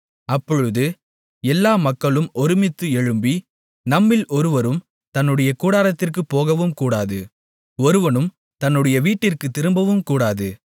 அப்பொழுது எல்லா மக்களும் ஒருமித்து எழும்பி நம்மில் ஒருவரும் தன்னுடைய கூடாரத்திற்குப் போகவும்கூடாது ஒருவனும் தன்னுடைய வீட்டிற்குத் திரும்பவும்கூடாது